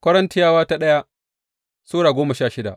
daya Korintiyawa Sura goma sha shida